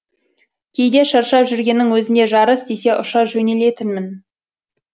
кейде шаршап жүргеннің өзінде жарыс десе ұша жөнелетінмін